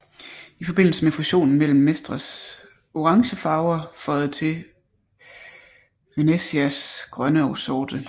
I forbindelse med fusionen blev Mestres orange farver føjet til Venezias grønne og sorte